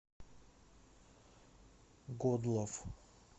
годлав